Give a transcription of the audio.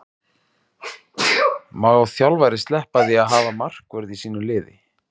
Má þjálfari sleppa því að hafa markvörð í sínu liði?